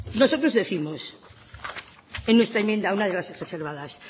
nosotros décimos en nuestra enmienda una de las reservadas